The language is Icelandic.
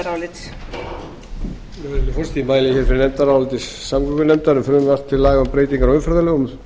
virðulegi forseti ég mæli fyrir nefndaráliti samgöngunefndar um frumvarp til laga um breytingar á umferðarlögum